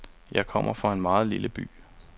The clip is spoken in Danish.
Jeg kommer fra en meget lille by.